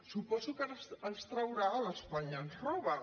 suposo que ara ens traurà l’ espanya ens roba